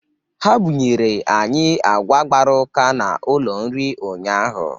Ha bụnyere anyị agwa gbara ụka n'ụlọ nri ụnyaahụ